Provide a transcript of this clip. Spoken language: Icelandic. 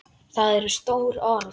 Það eru stór orð.